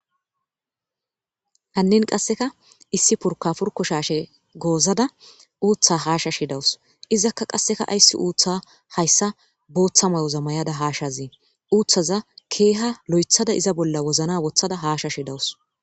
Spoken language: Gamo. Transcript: hannin qasseka issi purka purko shaashe goozada uuththa haashashe dawus izakka qasseka ayssi uutha hayssa booththa mayoza mayada haashazee uuthaza keeha lo7ethada iza bolla wozina wothada haashashe dawus